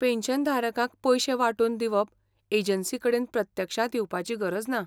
पॅन्शनधारकांक पयशें वांटून दिवप एजंसीकडेन प्रत्यक्षांत येवपाची गरज ना.